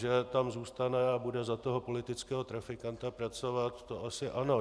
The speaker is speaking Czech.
Že tam zůstane a bude za toho politického trafikanta pracovat, to asi ano.